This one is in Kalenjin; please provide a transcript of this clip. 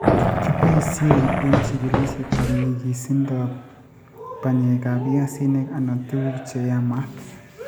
Kiboisyen eng' chigilisyetap nyigisindo ap panyekap piasinik, anan tuguuk che yaamaat.